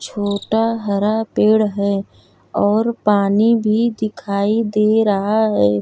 छोटा हरा पेड़ है और पानी भी दिखाई दे रहा है।